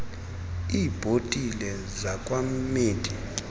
iibhotile zakwa mead